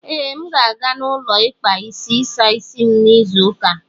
Ee, M ga-aga ụlọ ikpa isi ịsa isi m n'izu ụka a.